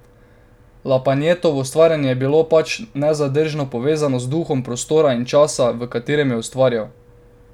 Lapajnetovo ustvarjanje je bilo pač nezadržno povezano z duhom prostora in časa, v katerem je ustvarjal.